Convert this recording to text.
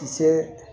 Kisɛ